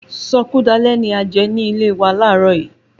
Sọkúdalẹ́ ni a jẹ nílé wa laarọ yìí